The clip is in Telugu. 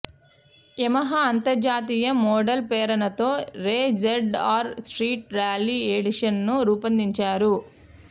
యమహా అంతర్జాతీయ మోడళ్ల ప్రేరణతో రే జడ్ఆర్ స్ట్రీట్ ర్యాలీ ఎడిషనను రూపొందించారు